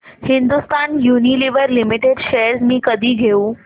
Hindustan Unilever limited shares मी कधी घेऊ